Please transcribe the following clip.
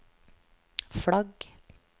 flagg